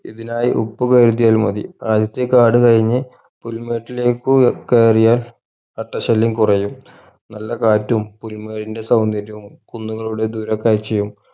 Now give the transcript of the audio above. ഇതിനായി ഉപ്പ് കരുതിയാൽ മതി ആദ്യത്തെ കാട് കഴിഞ്ഞ് പുൽമേട്ടിലേക്കു കയറിയാൽ അട്ട ശല്ല്യം കുറയും നല്ല കാറ്റും പുൽമേടിന്റെ സൗന്ദര്യവും കുന്നുകളുടെ ദൂര കാഴ്ചയും